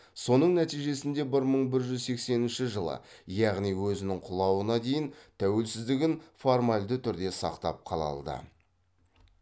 соның нәтижесінде бір мың бір жүз сексенінші жылы яғни өзінің құлауына дейін тәуелсіздігін формалді түрде сақтап қала алды